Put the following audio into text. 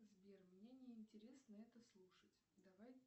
сбер мне не интересно это слушать давай